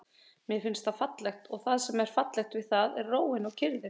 Mér finnst það fallegt og það sem er fallegt við það er róin og kyrrðin.